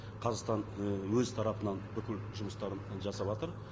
қазақстан і өз тарапынан бүкіл жұмыстарын жасаватыр